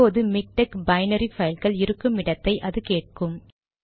இப்போது MiKTeX binary பைல்கள் இருக்கும் இடத்தை அது கேட்கும்